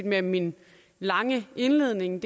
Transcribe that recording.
med min lange indledning